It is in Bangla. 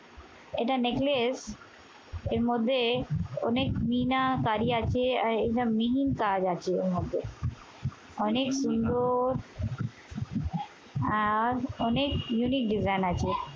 এটা neckless এর মধ্যে অনেক মিনা কারি আছে। আহ এটা মিহিন কাজ আছে। অনেক মূল্য আর অনেক unique design আছে।